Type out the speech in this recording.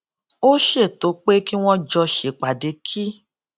ó ṣètò pé kí wón jọ ṣèpàdé kí